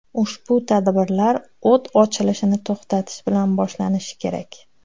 Ushbu tadbirlar o‘t ochilishini to‘xtatish bilan boshlanishi kerak.